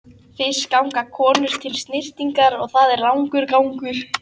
Fyrst ganga konur til snyrtingar og það er langur gangur.